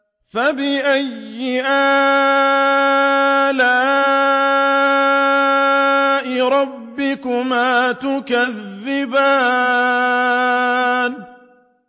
فَبِأَيِّ آلَاءِ رَبِّكُمَا تُكَذِّبَانِ